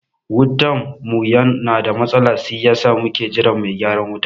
Wutan mu na da matsala si yasa muke jiran mai gyaran wuta